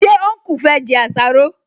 Ṣé ọnkú fẹ́ jẹ àsáró?